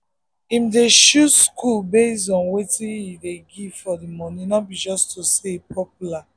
him dey choose school based on wetin e dey give for the money no be just say e popular.